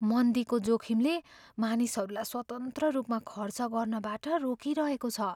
मन्दीको जोखिमले मानिसहरूलाई स्वतन्त्र रूपमा खर्च गर्नबाट रोकिरहेको छ।